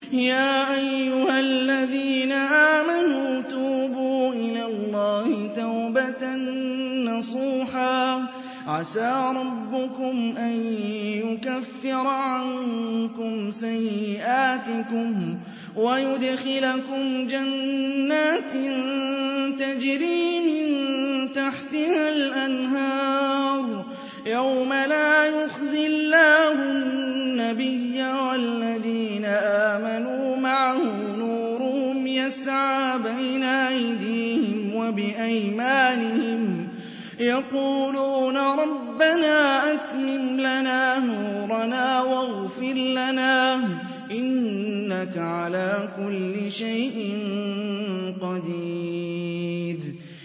يَا أَيُّهَا الَّذِينَ آمَنُوا تُوبُوا إِلَى اللَّهِ تَوْبَةً نَّصُوحًا عَسَىٰ رَبُّكُمْ أَن يُكَفِّرَ عَنكُمْ سَيِّئَاتِكُمْ وَيُدْخِلَكُمْ جَنَّاتٍ تَجْرِي مِن تَحْتِهَا الْأَنْهَارُ يَوْمَ لَا يُخْزِي اللَّهُ النَّبِيَّ وَالَّذِينَ آمَنُوا مَعَهُ ۖ نُورُهُمْ يَسْعَىٰ بَيْنَ أَيْدِيهِمْ وَبِأَيْمَانِهِمْ يَقُولُونَ رَبَّنَا أَتْمِمْ لَنَا نُورَنَا وَاغْفِرْ لَنَا ۖ إِنَّكَ عَلَىٰ كُلِّ شَيْءٍ قَدِيرٌ